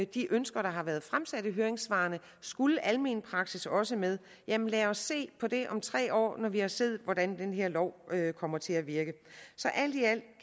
de ønsker der har været fremsat i høringssvarene skulle almen praksis også med jamen lad os se på det om tre år når vi har set hvordan den her lov kommer til at virke så alt i alt